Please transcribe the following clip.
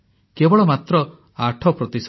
କେବଳ ମାତ୍ର 8 ପ୍ରତିଶତ